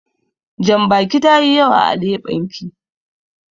Jambakin tayi yawa a leɓen ki.